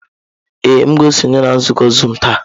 Ee, m ga-esonye na nzukọ zuumu taa.